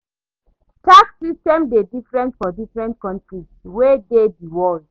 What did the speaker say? Tax system dey different for different countries wey dey di world